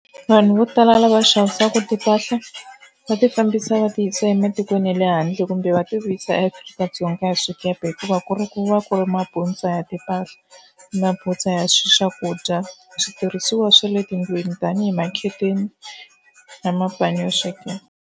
Vanhu vo tala lava xavisaka timpahla va ti fambisa va ti yi sa ematikweni ya le handle kumbe va ti vuyisa eAfrika-Dzonga hi swikepe hikuva ku ri ku va ku ri mabutsa ya timpahla, mabutsa ya swi swakudya, switirhisiwa swa le tindlwini tanihi makheteni na mapani yo sweka.